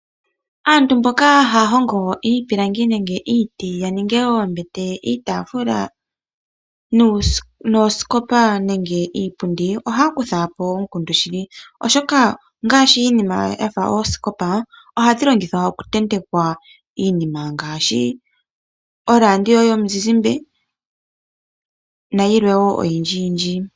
Aantu mboka haya hongo iipilangi nenge iiti ya ninge oombete, iitaafula noosikopa nenge iipundi ohaya kutha po omukundu shili, oshoka ngaashi iinima ya fa oosikopa ohadhi longithwa okutentekwa iinima ngaashi oradio yomuzizmba nayilwe woo oyindjiyindji.